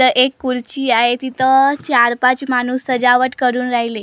इथं एक खुर्ची आहे तिथं चार पाच माणूस सजावट करून राहिले .